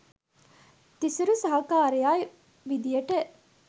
තිසුරි සහකාරයා විදියට